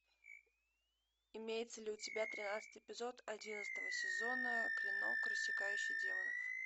имеется ли у тебя тринадцатый эпизод одиннадцатого сезона клинок рассекающий демонов